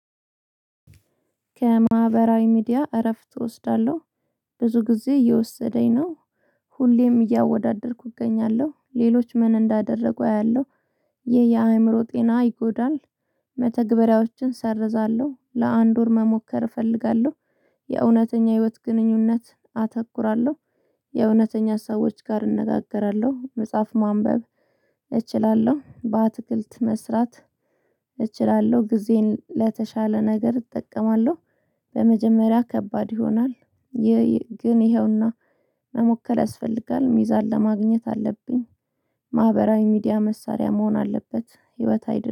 ከማህበራዊ ሚዲያ እረፍት እወስዳለሁ ብዙ ጊዜ እየወሰደኝ ነው። ሁሌም እያወዳደርኩ እገኛለሁ ሌሎች ምን እንዳደረጉ አያለሁ። ይሄ የአእምሮ ጤና ይጎዳል። መተግበሪያዎችን ሰርዛለሁ ለአንድ ወር መሞከር እፈልጋለሁ። የእውነተኛ ህይወት ግንኙነት አተኩራለሁ። የእውነተኛ ሰዎች ጋር እነጋገራለሁ። መጽሐፍ ማንበብ እችላለሁ በአትክልት መስራት እችላለሁ። ጊዜን ለተሻለ ነገር እጠቀማለሁ። በመጀመሪያ ከባድ ይሆናል። ግን ይኸውና መሞከር ያስፈልጋል ሚዛን ለማግኘት አለብኝ። ማህበራዊ ሚዲያ መሳሪያ መሆን አለበት ህይወት አይደለም